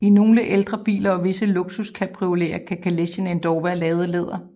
I nogle ældre biler og visse luksuscabrioleter kan kalechen endda være lavet af læder